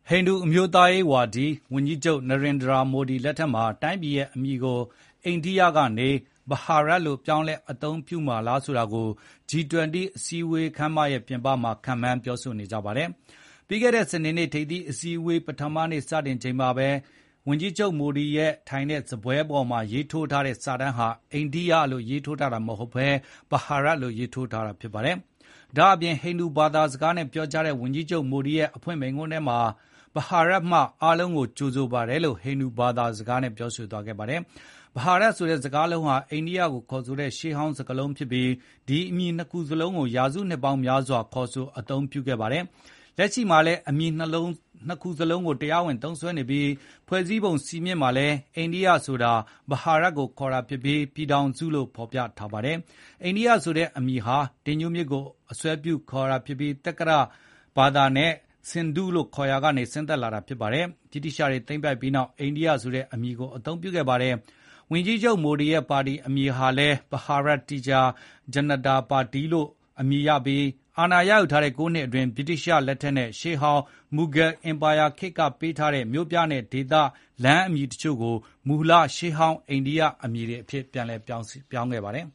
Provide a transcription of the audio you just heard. ဟိန္ဒူအမျိုးသားရေးဝါဒီ ဝန်ကြီးချုပ်နရင်ဒြာမိုဒီလက်ထက်မှာ တိုင်းပြည်ရဲ့အမည်ကိုအိန္ဒိယကနေ Bharat "ဘဟာရတ်" လို့ပြောင်းလဲအသုံးပြုမှာလားဆိုတာကို G20 အစည်းအဝေးရဲ့ပြင်ပမှာခန့်မှန်းပြောဆိုနေကြပါတယ်။ ပြီးခဲ့တဲ့စနေနေ့ ထိပ်သီးအစည်းဝေးပထမနေ့စတင်တဲ့အချိန်မှာလည်း ဝန်ကြီးချုပ်မိုဒီထိုင်တဲ့စားပွဲပေါ်မှာရေးထိုးထားတဲ့ စာတမ်းဟာ "အိန္ဒိယ" လို့ရေးထိုးထားတာမဟုတ်ဘဲ “ဘဟာရတ်” လို့ရေးထိုးထားပါတယ်။ ဒါ့အပြင် ဟိန္ဒူဘာသာစကားနဲ့ပြောကြားတဲ့ ဝန်ကြီးချုပ်မိုဒီရဲ့ အဖွင့်မိန့်ခွန်းထဲမှာလည်း “Bharat ဘဟာရတ်မှအားလုံး ကိုကြိုဆိုပါတယ်” လို့ဟိန္ဒူဘာသာစကားနဲ့ပြောဆိုသွားခဲ့ပါတယ်။ ဘဟာရတ်ဆိုတဲ့ စကားလုံးဟာ အိန္ဒိယကိုခေါ်ဆိုတဲ့ရှေးဟောင်းစကားလုံးဖြစ်ပြီး ဒီအမည်နှစ်ခုစလုံးကိုရာစုနှစ်ပေါင်း များစွာခေါ်ဆိုအသုံးပြုခဲ့ပါတယ်။ လက်ရှိမှာလည်း အမည်နှစ်မျိုးစလုံးကို တရားဝင်သုံးစွဲပြီး၊ ဖွဲ့စည်းပုံစည်းမျဉ်းမှာလည်း အိန္ဒိယဆိုတာ ဘဟာရတ် ကိုခေါ်ဆိုတာဖြစ်ပြီး၊ ပြည်ထောင်စုလို့ ဖေါ်ပြထားပါတယ်။ အိန္ဒိယဆိုတဲ့အမည်ဟာ အင်ဒုမြစ်ကိုအစွဲပြုခေါ်ဆိုတဲ့အမည်ဖြစ်ပြီး သက္ကတဘာသာနဲ့ Sindhu ဆင်ဒုလို့ခေါ်ရာကနေ ဆင်းသက်လာတာဖြစ်ပါတယ်။ ဗြိတိသျှတွေသိမ်းပိုက်ပြီးနောက် အန္ဒိယဆိုတဲ့အမည်ကိုအသုံးပြုခဲ့ပါတယ်။ ဝန်ကြီးချုပ်မိုဒီရဲ့ပါတီအမည်ဟာလည်း “ဘဟာရတ်တီရာ ဂျနတာ ပါတီ” Bharatiya Janata Party ဖြစ်ပြီး၊ အာဏာရ ယူထားတဲ့ ၉ နှစ်အတွင်း ဗြိတိသျှလက်ထက်နဲ့ ရှေးဟောင်း မူဂယ်အင်ပါရာခေတ်ကပေးခဲ့တဲ့ မြို့ပြ၊ ဒေသနဲ့လမ်းအမည် တချို့ကို မူလရှေးဟောင်းအိန္ဒိယအမည်တွေကိုပြန်ပြောင်းခဲ့ပါတယ်